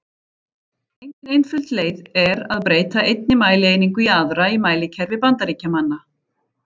Engin einföld leið er að breyta einni mælieiningu í aðra í mælikerfi Bandaríkjamanna.